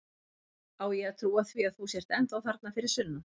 Á ég að trúa því að þú sért ennþá þarna fyrir sunnan?